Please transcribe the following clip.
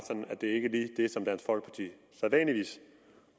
at det ikke lige er det som dansk folkeparti sædvanligvis